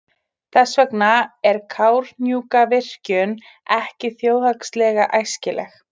Þess vegna er Kárahnjúkavirkjun ekki þjóðhagslega æskileg.